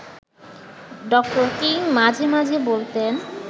ড. কিং মাঝে মাঝে বলতেন